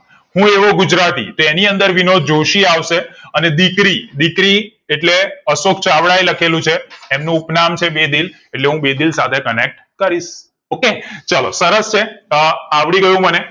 હું એવું ગુજરાતી તો એની અંદર વિનોદ જોશી આવશે અને દીકરી દીકરી એટલે અશોક ચાવડા લખેલું છે એમનું ઉપનામ છે બેદિલ એટલે હું બેદિલ સાથે connect કરીશ okay ચાલો સરસ છે અ અવળી ગયું મને